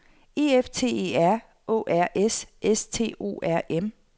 E F T E R Å R S S T O R M